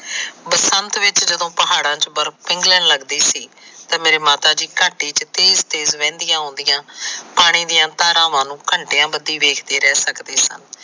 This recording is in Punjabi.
ਬਸੰਤ ਵਿੱਚ ਜਦੋ ਪਹਾੜਾ ਚ ਬਰਫ ਪਿੰਘਲਣ ਲੱਗਦੀ ਸੀ ਤਾ ਮੇਰੇ ਮਾਤਾ ਜੀ ਚ ਤੇਜ ਤੇਜ ਵਹਿਦੀਆਂ ਆਉਂਦੀਆ ਪਾਣੀ ਦੀਆਂ ਧਾਰਾਵਾਂ ਨੂੰ ਘੰਟਿਆ ਬੰਧੀ ਵੇਖ ਰਹਿ ਸਕਦੇ ਸਨ